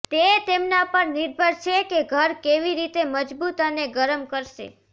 તે તેમના પર નિર્ભર છે કે ઘર કેવી રીતે મજબૂત અને ગરમ કરશે